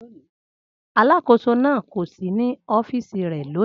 Alákòóso náà kò sí ní ọ́fíìsì rẹ̀ lónìí